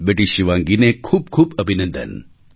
બેટી શિવાંગીને ખૂબ ખૂબ અભિનંદન